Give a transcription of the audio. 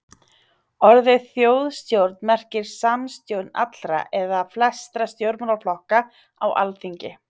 orðið þjóðstjórn merkir samstjórn allra eða flestra stjórnmálaflokka á alþingi